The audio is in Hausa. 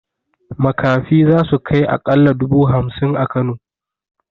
Makafi zasu kai aƙalla dubu hamsin a kano